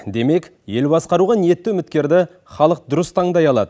демек ел басқаруға ниетті үміткерді халық дұрыс таңдай алады